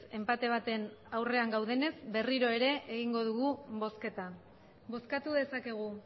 enpate baten aurrean gaudenez berriro ere egingo dugu bozketa bozkatu dezakegu